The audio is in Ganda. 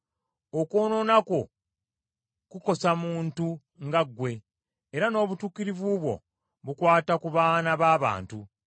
Okwonoona kwo kukosa muntu nga ggwe, era n’obutuukirivu bwo bukwata ku baana b’abantu.